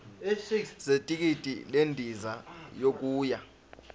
zethikithi lendiza yokuya